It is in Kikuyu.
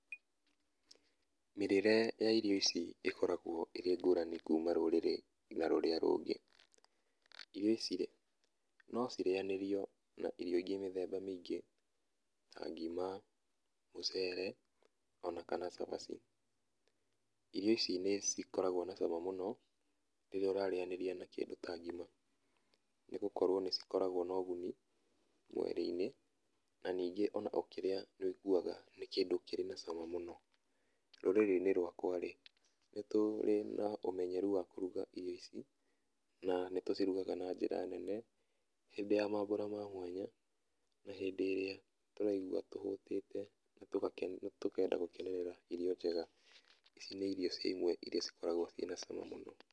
Mĩrĩre ya irio ici ĩkoragwo ĩrĩ ĩngũrani kũma rũrĩrĩ ngĩnya rũrĩa rũngĩ. Irio ici-rĩ, no cirĩanĩrio na irio ingĩ mĩthemba mĩingĩ ta ngima, mũcre ona kana cabaci. Irio ici nĩ cikoragwo na cama mũno rĩrĩa ũrarĩanĩria na kĩndũ ta ngima nĩ gũkorwo nĩ cikoragwo na ũguni mwĩ-inĩ na ningĩ ona ũkĩria nĩ ũiguaga nĩ kĩndũ kĩrĩ na cama mũno. Rũrĩrĩ-inĩ rũakwa-rĩ, nĩ tũri na ũmenyeru wa kũruga irio ici na nitũcirugaga na njĩra nene hĩndĩ ya mambũra ma mwanya na hĩndĩ ĩrĩa tũraigua tũhũtĩte tũkenda gũkenerera irio njega. Ici nĩ irio cia imwe iria cikoragwo ciĩna cama mũno.